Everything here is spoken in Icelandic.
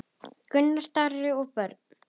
Gunnar Darri og börn.